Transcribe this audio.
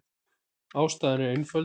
Ástæðan er einföld.